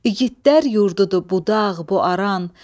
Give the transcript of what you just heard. İgidlər yurdudur bu dağ, bu aran,